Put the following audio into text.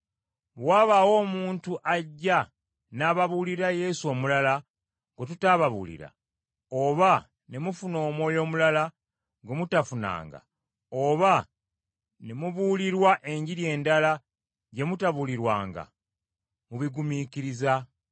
Bwe wabaawo omuntu ajja n’ababuulira Yesu omulala gwe tutabuulira, oba ne mufuna omwoyo omulala, gwe mutafunanga, oba ne mubuulirwa Enjiri endala gye mutabuulirwanga, mubigumiikiriza.